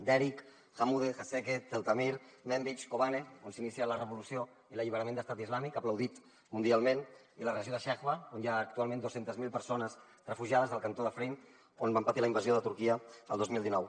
derik amuda heseke tal tamir kobani on s’inicià la revolució i l’alliberament d’estat islàmic aplaudit mundialment i la regió de sheba on hi ha actualment dos cents miler persones refugiades del cantó d’afrin on van patir la invasió de turquia el dos mil dinou